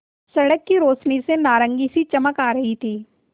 सड़क की रोशनी से नारंगी सी चमक आ रही थी